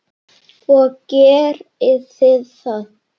Og gerið þið það?